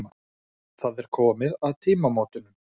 Það er komið að tímamótunum.